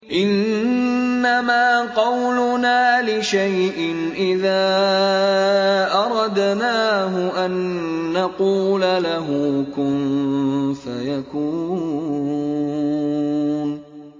إِنَّمَا قَوْلُنَا لِشَيْءٍ إِذَا أَرَدْنَاهُ أَن نَّقُولَ لَهُ كُن فَيَكُونُ